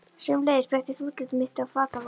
Sömuleiðis breyttist útlit mitt og fataval.